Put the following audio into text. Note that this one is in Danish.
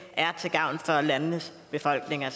er til gavn for landenes befolkninger